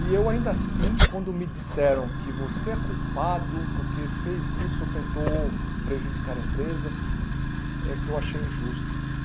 E eu ainda assim, quando me disseram que você é culpado porque fez isso ou tentou prejudicar a empresa, é que eu achei injusto.